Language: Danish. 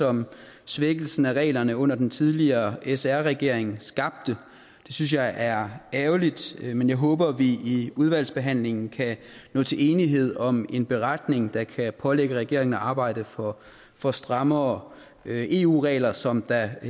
som svækkelsen af reglerne under den tidligere sr regering skabte det synes jeg er ærgerligt men jeg håber vi i udvalgsbehandlingen kan nå til enighed om en beretning der kan pålægge regeringen at arbejde for for strammere eu regler som der